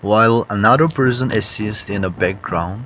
while another person is sees in the background